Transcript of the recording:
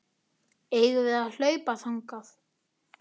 Eigum við að hlaupa þangað?